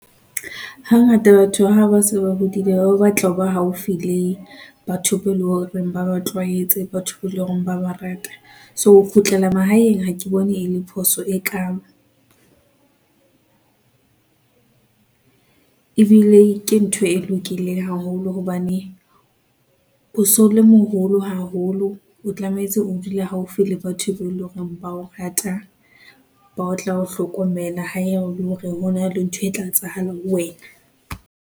Hangata batho haba se ba hodile ba batla ho ba haufi le batho be eleng hore ba ba tlwaetse, batho be, le hore ba ba rata. So, ho kgutlela mahaeng hake bone e le phoso e kaalo ebile ke ntho e lokileng haholo hobane, o so le moholo haholo, o tlametse o dule haufi le batho be eleng hore ba o rata, ba tla o hlokomela ha ya hore hona le ntho e tla etsahalang ho wena.